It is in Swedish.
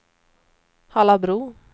Hallabro